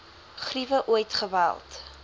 griewe ooit geweld